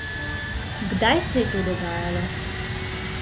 Kdaj se je to dogajalo?